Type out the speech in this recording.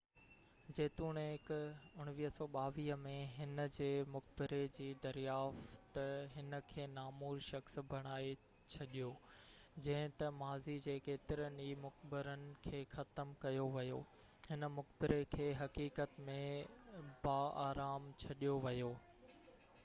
جيتوڻيڪ 1922 ۾ هن جي مقبري جي دريافت هن کي نامور شخص بڻائي ڇڏيو جڏهن ته ماضي جي ڪيترن ئي مقبرن کي ختم ڪيو ويو هن مقبري کي حقيقت ۾ باآرام ڇڏيو ويو